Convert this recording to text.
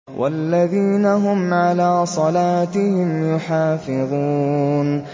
وَالَّذِينَ هُمْ عَلَىٰ صَلَاتِهِمْ يُحَافِظُونَ